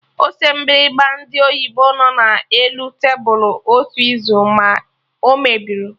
Ose mgbịrịgba ndị oyibo nọ na elu tebụl otu izu, ma o mebirọ